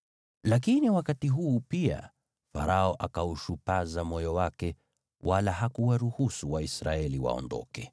Lakini wakati huu pia Farao akaushupaza moyo wake, wala hakuwaruhusu Waisraeli waondoke.